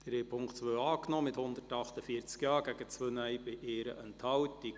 Sie haben die Ziffer 2 angenommen, mit 148 Ja- zu 2 Nein-Stimmen bei 1 Enthaltung.